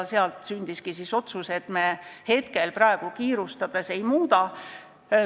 Sealt sündiski otsus, et me praegu kiirustades seda ei muuda.